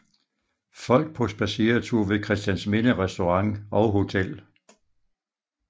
Folk på spadseretur ved Christiansminde restaurant og hotel